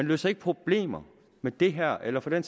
løser problemer med det her eller for den